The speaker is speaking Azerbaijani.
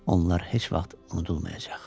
Onlar heç vaxt unudulmayacaq.